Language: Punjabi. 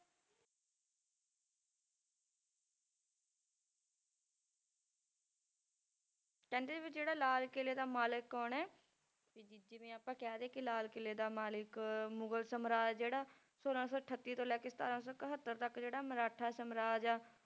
ਕਹਿੰਦੇ ਵੀ ਜਿਹੜਾ ਲਾਲ ਕਿਲ੍ਹੇ ਦਾ ਮਾਲਕ ਹੈ ਉਹਨੇ ਵੀ ਜ~ ਜਿਵੇਂ ਆਪਾਂ ਕਹਿ ਦੇਈਏ ਕਿ ਲਾਲ ਕਿਲ੍ਹੇ ਦਾ ਮਾਲਿਕ ਮੁਗ਼ਲ ਸਮਰਾਜ ਜਿਹੜਾ ਛੋਲਾਂ ਸੌ ਅਠੱਤੀ ਤੋਂ ਲੈ ਕੇ ਸਤਾਰਾਂ ਸੌ ਇਕਹੱਤਰ ਤੱਕ ਜਿਹੜਾ ਮਰਾਠਾ ਸਮਰਾਜ ਆ,